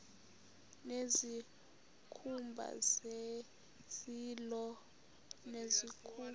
nezikhumba zezilo nezikhumba